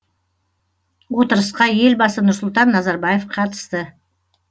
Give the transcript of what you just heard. отырысқа елбасы нұрсұлтан назарбаев қатысты